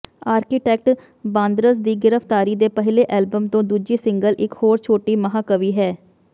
Arctic ਬਾਂਦਰਜ਼ ਦੀ ਗ੍ਰਿਫਤਾਰੀ ਦੇ ਪਹਿਲੇ ਐਲਬਮ ਤੋਂ ਦੂਜੀ ਸਿੰਗਲ ਇਕ ਹੋਰ ਛੋਟੀ ਮਹਾਂਕਾਵਿ ਹੈ